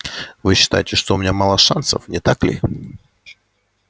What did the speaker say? вы считаете что у меня мало шансов не так ли